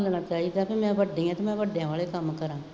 ਸੋਚਣਾ ਚਾਹੀਦਾ ਬਈ ਮੈਂ